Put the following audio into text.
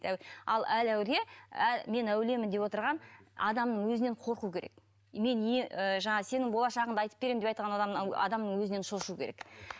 ал әр әулие мен әулиемін деп отырған адамның өзінен қорқу керек мен ы жаңағы сенің болашағыңды айтып беремін деп адамның өзінен шошуы керек